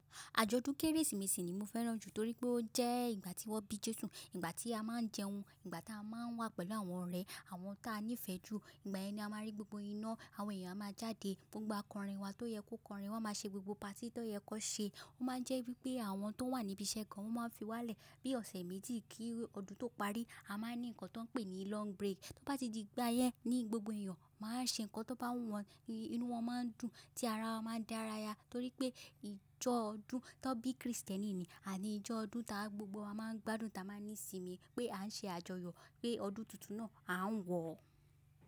Àjọ̀dún Kérésìmesì ni mo fẹ́ràn jù torí pé ó jẹ́ ìgbà tí wọ́n bí Jésù, ìgbà tí a máa ń jẹun, ìgbà tá a máa ń wà pẹ̀lú àwọn ọ̀rẹ́, àwọn ta nífẹ̀ẹ́ jù, ìgbà yẹn ni a máa rí gbogbo iná, àwọn èèyàn máa jáde gbogbo akọrin wa tó yẹ kó kọrin, wọ́n máa ṣe gbogbo patí tó yẹ kó ṣe. Ó máa ń jẹ́ wípé àwọn tó wà níbi iṣẹ́ kan wọ́n máa fi wá lẹ̀ bí ọ̀sẹ̀ méjì kí ọdún tó parí, a máa ní nǹkan tó pé ní long break. Tó bá ti di ìgbà yẹn ni gbogbo èèyàn máa ṣe nǹkan tó bá wu wọ́n, inú wọn máa ń dùn, tí ara wọn máa ń dára ya torí pé ìjọ ọdún tó bí kìrìsìtẹ́nì ni, àní ìjọ ọdún tá gbogbo wa máa ń gbádùn ta máa ní ìsinmi pé à ń ṣe àjọyọ̀ pé ọdún tuntun náà à ń wọ̀.